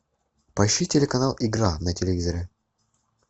поищи телеканал игра на телевизоре